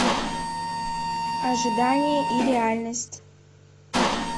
ожидание и реальность